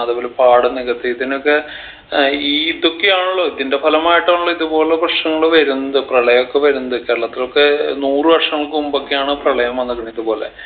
അത്പോലെ പാടം നികത്തി ഇതിനൊക്കെ ഏർ ഈ ഇതൊക്കെയാണല്ലോ ഇതിൻറെ ഫലമായിട്ടാണല്ലോ ഇതുപോലുള്ള പ്രശ്നനങ്ങൾ വരുന്നത് പ്രളയൊക്കെ വരുന്നത് കേരളത്തിലൊക്കെ നൂറ് വർഷങ്ങക്ക് മുമ്പൊക്കെയാണ് പ്രളയം വന്നത് ഇതുപോലെ